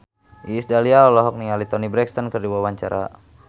Iis Dahlia olohok ningali Toni Brexton keur diwawancara